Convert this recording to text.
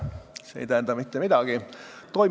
See ei tähenda mitte midagi.